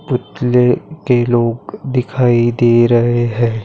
पूतले के लोग दिखाई दे रहे है।